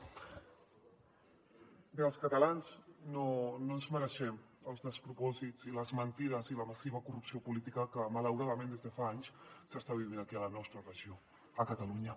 bé els catalans no ens mereixem els despropòsits i les mentides i la massiva corrupció política que malauradament des de fa anys s’està vivint aquí a la nostra regió a catalunya